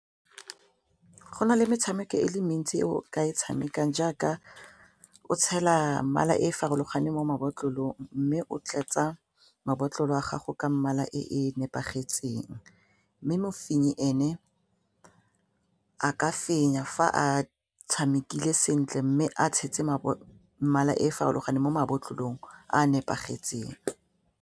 Go na le metshameko e le mentsi e o ka e tshamekang jaaka o tshela mmala e farologane mo mabotlolong mme o tla etsa mabotlolo a gago ka mmala e e nepagetseng mme mofenyi ene a ka fenya fa a tshamekile sentle mme a tshetse mmala e farologane mo mabotlolong a nepagetseng.